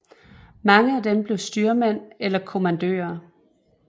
Mange af dem blev styrmænd eller kommandører